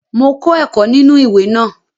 Mo kọ́ ẹ̀kọ́ nínú ìwé náà